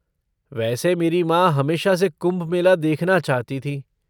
वैसे मेरी माँ हमेशा से कुंभ मेला देखना चाहती थीं।